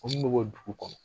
Ko min bɛ bɔ dugu kɔnɔ